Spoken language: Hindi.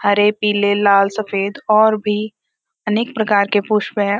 हरे पीले लाल सफेद और भी अनेक प्रकार के पुष्प हैं।